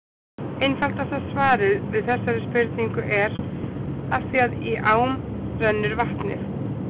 Einfaldasta svarið við þessari spurningu er: Af því að í ám rennur vatnið!